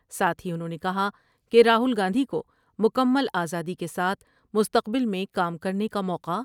ساتھ ہی انھوں نے کہا کہ راہول گاندھی کوکمل آزادی کے ساتھ مستقبل میں کام کر نے کا موقع